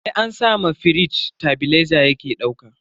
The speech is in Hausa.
Sai an sa ma firij tebileza yake dauka.